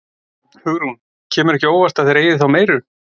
Hugrún: Kemur ekki á óvart að þeir eyði þá meiru?